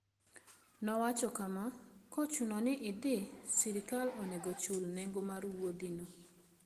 Nowacho kama: "Ka ochuno ni idhi, sirkal onego ochul nengo mar wuodhino.